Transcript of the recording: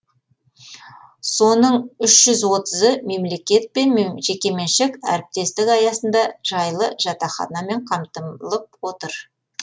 соның үш жүз отызы мемлекет пен жекеменшік әріптестік аясында жайлы жатақханамен қамтылып отыр